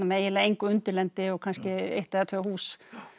eiginlega engu undirlendi og kannski eitt eða tvö hús